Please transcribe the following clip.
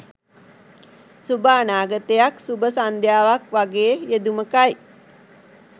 සුභ අනාගතයක් සුභ සන්ධ්‍යාවක් වගේ යෙදුමකයි